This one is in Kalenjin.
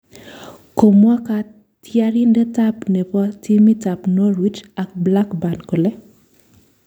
Komwa katyarindet ab keny nebo timit ab norwich ak blackburn kole